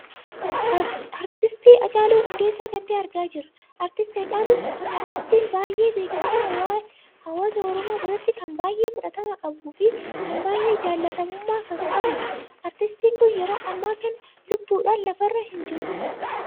Artistiin halcaaluu Hunddeessaa kan tahee argaa jirra. artistiin Hacaaluu kun artistiin baay'ee beekamaa hawaasaa Oromoo biratti kan baay'ee fudhatama qabuu fi kan baay'ee jaallatamummaa kan qabuudha. artistiin kun yeroo amma kan lubbuudhaan lafa irra hin jirudha.